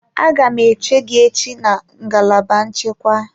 Aga m eche gị echi na ngalaba nchekwa.